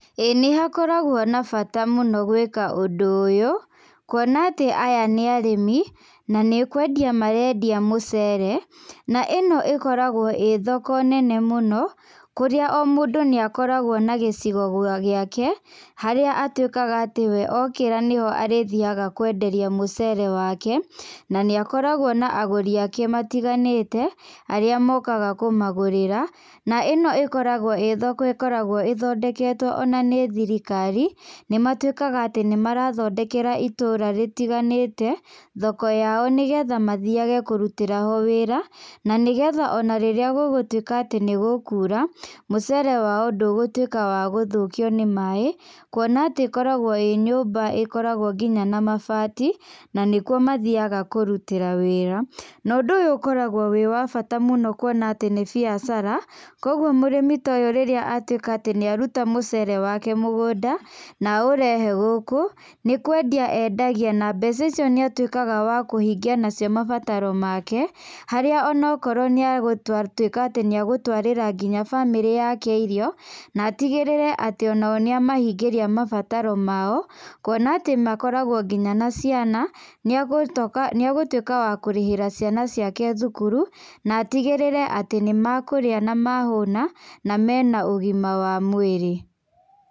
Ĩĩ nĩhakoragwo na bata mũno gwĩka ũndũ ũyũ, kuona atĩ aya nĩ arĩmi, na nĩkwendia marendia mũcere, na ĩno ĩkoragwo ĩ thoko nene mũno, kũrĩa o mũndũ nĩakoragwo na gĩcigo gwa gĩake, harĩa atwĩkaga atĩ we okĩra nĩho arĩthiaga kwenderia mũcere wake, naníakoragwo na agũri ake matiganĩte, arĩa mokaga kũmagũrĩra, na ĩno ĩkoragwo ĩ thoko ĩkoragwo ĩthondeketwo ona nĩ thirikari, nĩmatwĩkaga atĩ nĩmarathondekera itũra rĩtiganĩte, thoko yao nĩgetha mathiage ho kũrutĩra wĩra, nanĩgetha ona rĩrĩa gũgũtwĩka atĩ nĩgũkura, mũcere wao ndũgũtwĩka wa gũthũkio nĩ maĩ, kuona atĩ ĩkoragwo ĩ nyũmba ĩkoragwo nginya na mabati, nanĩkuo mathiaga kũrutĩra wĩra, nondũ ũyũ ũkorafwo wĩ wa bata mũno kuona atĩ nĩ biacara, koguo mũrĩmi ta ũyũ rĩrĩa atwĩka atĩ nĩaruta mũcere wake mũgũnda, naũrehe gũkũ, nĩkwendia endagia na mbeca icio nĩatwĩkaga wa kũhingia nacio mabataro make, harĩa onakorwo nĩagũtwa tuĩka atĩ nĩegũtwarĩra nginya bamĩrĩ yake irio, natigĩrĩre atĩ onao nĩamahingĩria mabataro mao, kuona atĩ makoragwo nginya na ciana nĩagũtũ nĩagũtwĩka wa kũrĩhĩra ciana ciake thukuru, natigĩrĩre atĩ nĩmakũrĩa na mahũna, na mena ũgima wa mwĩrĩ.